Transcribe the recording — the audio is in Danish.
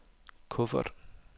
kuffert